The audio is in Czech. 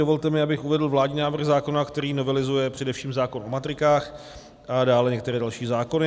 Dovolte mi, abych uvedl vládní návrh zákona, který novelizuje především zákon o matrikách a dále některé další zákony.